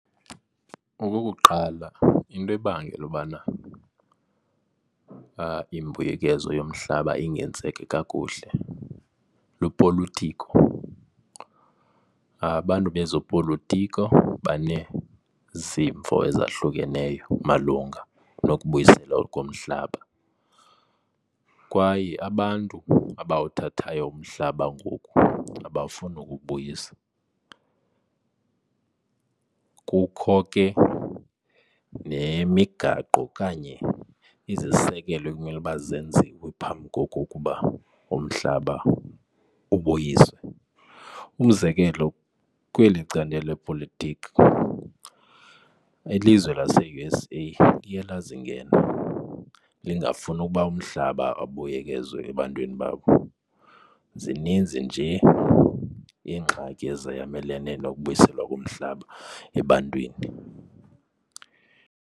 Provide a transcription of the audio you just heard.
Okokuqala, into ebangela ukubana imbuyekezo yomhlaba ingenzeki kakuhle lupolotiko. Abantu bezopolotiko baneezimvo ezahlukeneyo malunga nokubuyiselwa komhlaba. Kwaye abantu abawuthathayo umhlaba ngoku abafuni ukuwubuyisa. Kukho ke nemigaqo kanye izisekelo ekumele ukuba zenziwe phambi kokokuba umhlaba ubuyiswe. Umzekelo kweli candelo lepolitiki ilizwe lase-U_S_A liye lazingena bengafuni ukuba umhlaba abuyekezwe ebantwini babo. Zininzi nje iingxaki ezayalamene nokubuyiselwa komhlaba ebantwini.